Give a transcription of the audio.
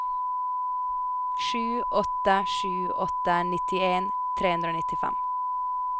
sju åtte sju åtte nittien tre hundre og nittifem